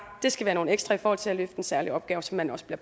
skal være nogle ekstra til at løfte en særlig opgave som man også